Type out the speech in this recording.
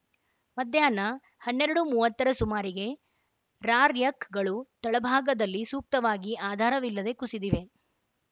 ಮಧ್ಯಾಹ್ನ ಹನ್ನೆರಡು ಮೂವತ್ತರ ಸುಮಾರಿಗೆ ರಾರ್ ಯಕ್‌ಗಳು ತಳಭಾಗದಲ್ಲಿ ಸೂಕ್ತವಾಗಿ ಆಧಾರವಿಲ್ಲದೆ ಕುಸಿದಿವೆ